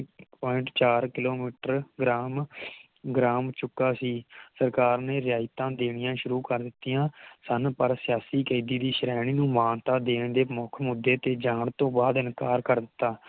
Point ਚਾਰ kilometre gram gram ਚੁਕਾ ਸੀ ਸਰਕਾਰ ਨੇ ਰਿਆਇਤਾਂ ਦੇਣੀਆਂ ਸ਼ੁਰੂ ਕਰ ਦਿਤੀਆਂ ਸਨ ਪਰ ਸਿਆਸੀ ਖੇਤੀ ਦੇ ਸ਼੍ਰੇਣੀ ਨੂੰ ਮਾਨਤਾ ਦੇਣ ਦੇ ਮੁੱਖ ਮੁਦੇ ਤੇ ਜਾਣ ਤੋਂ ਬਾਦ ਇਨਕਾਰ ਕਰ ਦਿਤਾ